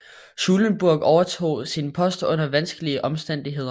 Schulenburg overtog sin post under vanskelige omstændigheder